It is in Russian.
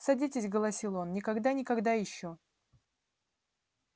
садитесь голосил он никогда никогда ещё